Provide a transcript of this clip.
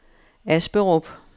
Asperup